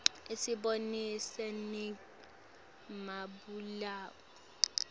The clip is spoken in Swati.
isibonisa nanqe mabalaue